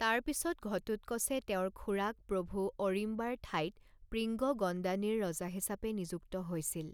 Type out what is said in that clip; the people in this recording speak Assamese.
তাৰপিছত ঘটোৎকচে তেওঁৰ খুড়াক প্ৰভু অৰিম্বাৰ ঠাইত প্ৰিঙ্গগণ্ডানীৰ ৰজা হিচাপে নিযুক্ত হৈছিল।